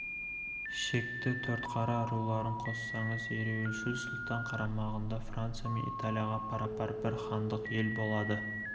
шекті төртқара руларын қоссаңыз ереуілшіл сұлтан қарамағында франция мен италияға пара-пар бір хандық ел болады